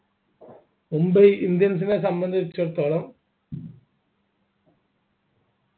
Mumbai indians നെ സംബന്ധിച്ചിടത്തോളം